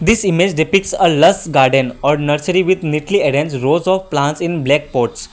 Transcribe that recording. this image depicts a lush garden or nursery with neatly arrange rows of plants in black pots.